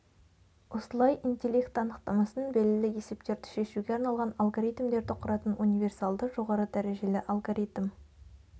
осылай интеллект анықтамасын белгілі есептерді шешуге арналған алгоритмдерді құратын универсалды жоғары дәрежелі алгоритм